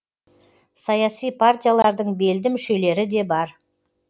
саяси партиялардың белді мүшелері де бар